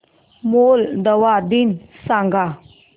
Moldova दिन सांगा